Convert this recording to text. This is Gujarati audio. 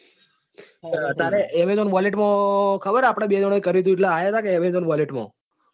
તારે amazon wallet માં ખબર આપડે બે જણા એ કર્યું હતું એટલે આવ્યા હતા કે amazon wallet માં.